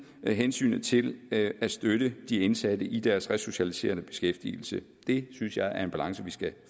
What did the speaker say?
hensynet til at støtte de indsatte i deres resocialiserende beskæftigelse det synes jeg er en balance vi skal